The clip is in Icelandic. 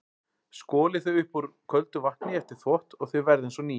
Skolið þau upp úr köldu vatni eftir þvott og þau verða eins og ný.